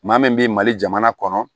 Maa min bɛ mali jamana kɔnɔ